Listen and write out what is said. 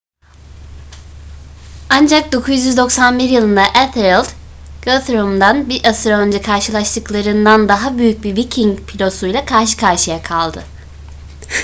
ancak 991 yılında ethelred guthrum'dan bir asır önce karşılaştıklarından daha büyük bir viking filosuyla karşı karşıya kaldı